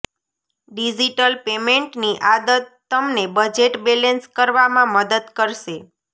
digital પેમેન્ટની આદત તમને બજેટ બેલેન્સ કરવામાં મદદ કરશે